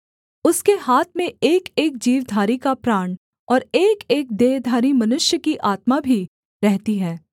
उसके हाथ में एकएक जीवधारी का प्राण और एकएक देहधारी मनुष्य की आत्मा भी रहती है